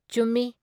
ꯆꯨꯝꯃꯤ ꯫